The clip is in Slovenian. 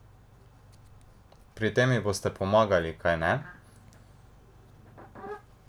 Pri tem ji boste pomagali, kajne?